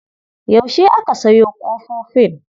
Yaushe aka sayo ƙofofin.